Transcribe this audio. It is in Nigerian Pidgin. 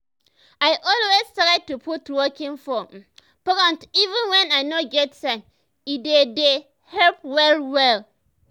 i always try to put walking for um front even when i no get time e dey dey help well well.